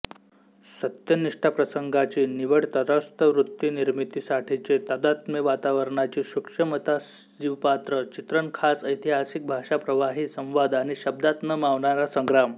सत्यनिष्ठाप्रसंगाची निवडतटस्थवृत्तीनिर्मितीसाठीचे तादात्मेवातावरणाची सुक्षमतासजीवपात्र चित्रणखास ऐतिहासिक भाषा प्रवाही संवाद आणि शब्दात न मावणारा संग्राम